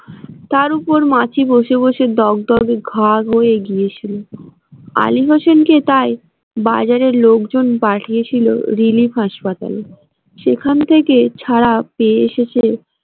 তার ওপর মাছি বসে বসে দগদগে ঘা হয়ে গিয়ে ছিল আলী হোসেন কে তাই বাজারের লোকজন পাঠিয়ে ছিল রিলিফ হাসপাতালে সেখান থেকে ছাড়া পেয়ে সে এসেছে।